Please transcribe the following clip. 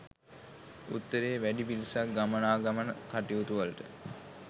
උතුරේ වැඩි පිරිසක් ගමනාගමන කටයුතුවලට